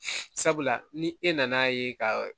Sabula ni e nan'a ye ka